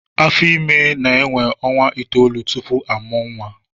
Afọ Ímé na-énwé ọnwa itoolu tupu a mụọ nwa